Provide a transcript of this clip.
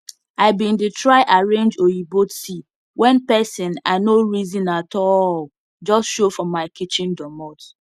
i bin d try arange oyibo tea wen pesin i nor reson atallll just show for my kitchen doormot